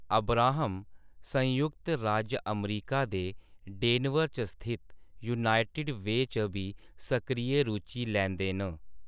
Abraham संयुक्त राज्य अमरीका दे डेनवर च स्थित यूनाइटेड वे च बी सक्रिय रुचि लैंदे न।